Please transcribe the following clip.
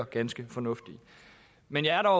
ganske fornuftige men jeg er